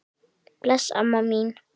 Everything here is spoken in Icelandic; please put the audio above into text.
Bless amma mín.